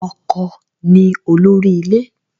Ọkọ ni olórí ilé.